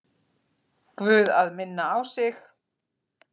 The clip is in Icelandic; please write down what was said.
Guð að minna á sig.